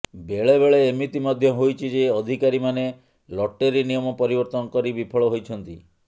ବେଳେବେଳେ ଏମିତି ମଧ୍ୟ ହୋଇଛି ଯେ ଅଧିକାରୀମାନେ ଲଟେରୀ ନିୟମ ପରିବର୍ତ୍ତନ କରି ବିଫଳ ହୋଇଛନ୍ତି